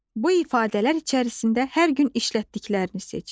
Bu ifadələr içərisində hər gün işlətdiklərini seç.